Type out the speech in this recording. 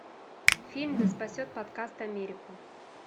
фильм да спасет подкаст америку